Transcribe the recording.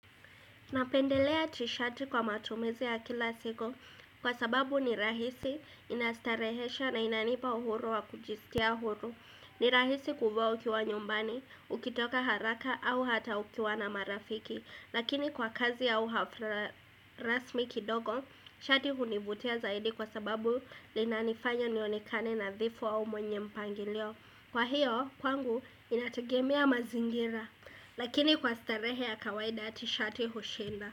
Napendelea tishati kwa matumizi ya kila siku kwa sababu ni rahisi inastarehesha na inanipa uhuru wa kujistia uhuru. Ni rahisi kufuwa ukiwa nyumbani, ukitoka haraka au hata ukiwa na marafiki. Lakini kwa kazi au hafla rasmi kidogo, shati hunivutia zaidi kwa sababu linanifanya nionekane nadhifu au mwenye mpangilio. Kwa hiyo kwangu inategemea mazingira Lakini kwa starehe ya kawaida ya tishati hushinda.